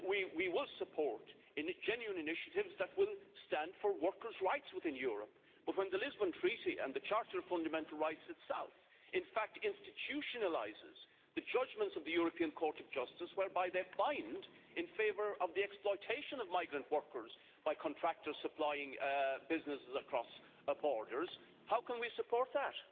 We will support genuine initiatives that will stand for workers' rights within Europe, but when the Lisbon Treaty and the Charter of Fundamental Rights itself in fact institutionalise the judgments of the European Court of Justice whereby they find in favour of the exploitation of migrant workers by contractors supplying businesses across borders, how can we support that?